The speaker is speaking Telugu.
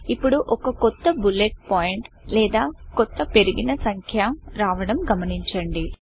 ఇప్పుడు ఒక కొత్త బులెట్ పాయింట్ లేదా కొత్త పెరిగిన సంఖ్య రావడం గమనించండి